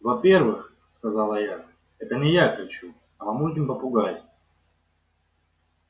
во первых сказала я это не я кричу а мамулькин попугай